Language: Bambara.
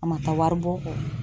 A ma taa waribɔ kɔ.